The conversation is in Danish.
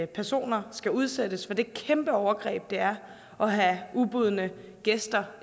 personer skal udsættes for det kæmpe overgreb det er at have ubudne gæster